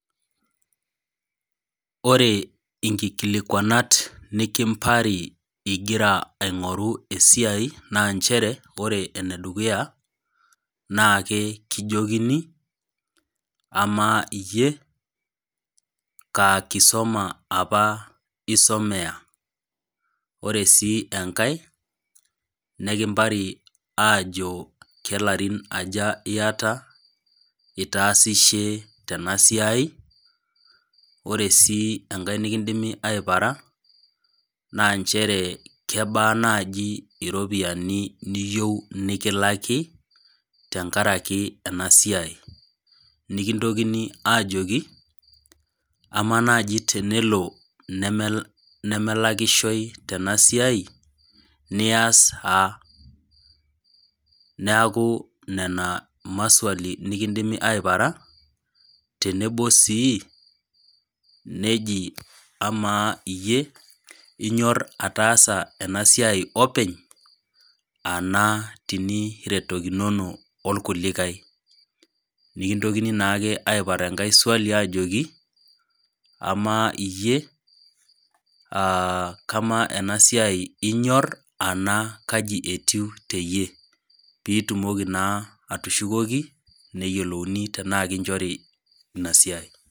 Ore nkikilikwanat nikimpari ingira ingoru esiai naa nchere ore enedukuya naa kekijokini amaa iyie kaa kisoma apa isomea , ore sii enkae , neikimpari aajo kelarin aja iata , itaasishe tena siai , ore sii enkae nikindimi aipara naa nchere kebaa naji iropiyiani niyieu nikilaki tenkaraki inasiai, nikintokini aajoki, amaa naji tenelo nemelakishoy tenasiai nias aa , neku nena ,maswali nikindimi aipara tenebo sii neji amaa iyie inyor ataas enasiai openy ana teniretokinono orkulikae, nikintokini naake aipar enkae swali ajoki amaa iyie aa kamaa enasia inyor ena kaji etiu teyie pitumoki naa atushukoki neyiolouni tenaa kinchori inasiai.